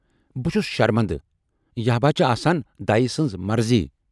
بہٕ چھُس شرمندٕ ،یہِ ہبا چھِ آسان دَیہِ سٕنز مرضی